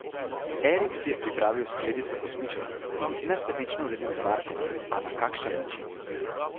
Erik si je pripravil skledico kosmičev in jih nesebično delil z Markom, a na kakšen način.